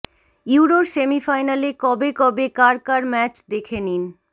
ইউরোর সেমিফাইনালে কবে কবে কার কার ম্যাচ দেখে নিন